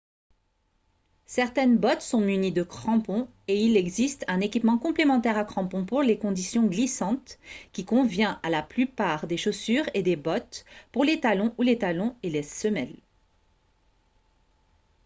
certaines bottes sont munies de crampons et il existe un équipement complémentaire à crampons pour les conditions glissantes qui convient à la plupart des chaussures et des bottes pour les talons ou les talons et la semelle